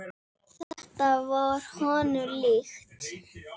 Þetta var honum líkt.